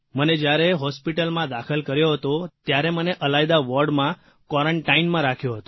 મને જયારે હોસ્પીટલમાં દાખલ કર્યો હતો ત્યારે મને અલાયદા વોર્ડમાંક્વોરન્ટાઇનમાં રાખ્યો હતો